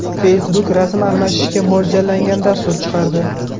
Facebook rasm almashishga mo‘ljallangan dastur chiqardi.